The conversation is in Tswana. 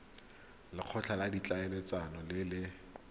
lekgotla la ditlhaeletsano le le